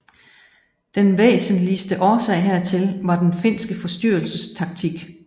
Den væsentligste årsag hertil var den finske forstyrrelsestaktik